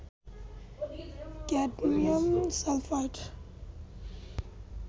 cadmium sulphide